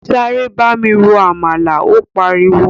Sáré bámi ro “àmàlà” ó pariwo.